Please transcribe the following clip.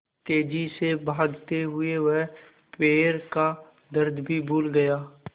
तेज़ी से भागते हुए वह पैर का दर्द भी भूल गया